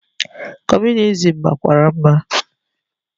Comunizim makwara mma.